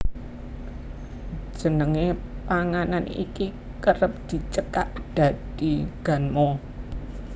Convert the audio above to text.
Jenenge panganan iki kerep dicekak dadi ganmo